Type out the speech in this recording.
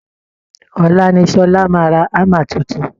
Ọ̀la niSọla máa ra hammer tuntun